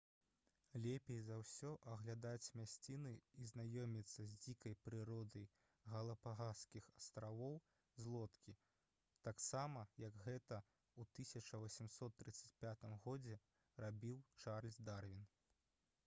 лепей за ўсе аглядаць мясціны і знаёміцца з дзікай прыродай галапагаскіх астравоў з лодкі таксама як гэта ў 1835 г рабіў чарльз дарвін